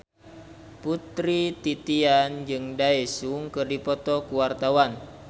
Putri Titian jeung Daesung keur dipoto ku wartawan